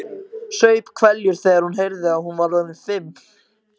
Saup hveljur þegar hún heyrði að hún var orðin fimm.